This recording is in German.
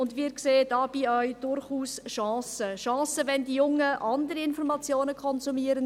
Dabei sehen wir auch durchaus Chancen – Chancen, wenn die Jungen andere Informationen konsumieren.